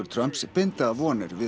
Trumps binda vonir við